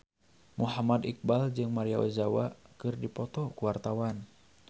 Muhammad Iqbal jeung Maria Ozawa keur dipoto ku wartawan